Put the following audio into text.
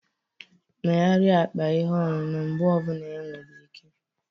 Megharịa akpa ihe ọṅụṅụ mgbe ọ bụla enwere ike